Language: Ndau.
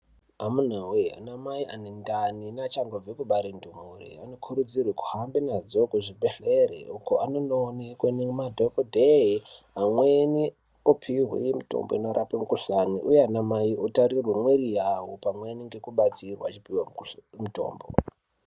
Amunawe anamai ane ndani nevachabve kubare ndumure anokurudzirwe kuhambe nadzo kuzvibhehlere uko anondoonekwe nemadhokodheya vamweni vopuwe mitombo inorape mikuhlani uye anamai otarirwe mwiri yavo pamwepo nekubatsirwa nekupuwe mitombo .